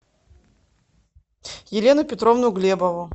елену петровну глебову